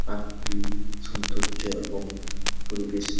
park টি সৌন্দর্য এবং পরিবেশ --